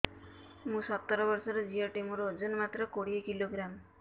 ମୁଁ ସତର ବର୍ଷ ଝିଅ ଟେ ମୋର ଓଜନ ମାତ୍ର କୋଡ଼ିଏ କିଲୋଗ୍ରାମ